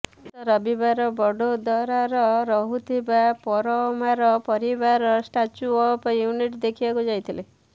ଗତ ରବିବାର ବଡ଼ୋଦରାର ରହୁଥିବା ପରମାର ପରିବାର ଷ୍ଟାଚ୍ୟୁ ଅଫ୍ ୟୁନିଟ ଦେଖିବାକୁ ଯାଇଥିଲେ